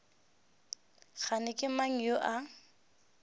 kgane ke mang yo a